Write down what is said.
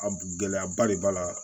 A gɛlɛyaba de b'a la